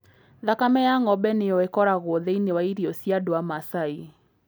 Thakame ya ng'ombe nĩyo ĩkoragwo thĩinĩ wa irio cia andũ a Masai.